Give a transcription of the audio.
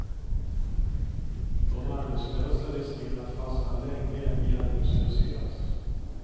De arbetslösa riskerar att fastna länge i arbetslöshet.